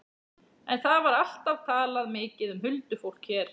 En það var alltaf talað mikið um huldufólk hér.